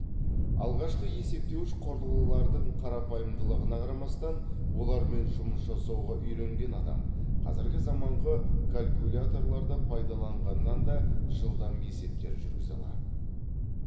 алғашқы есептеуіш құрылғылардың қарапайымдылығына қарамастан олармен жұмыс жасауға үйренген адам қазіргі заманғы калькуляторларды пайдаланғаннан да жылдам есептер жүргізе алады